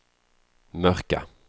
mörka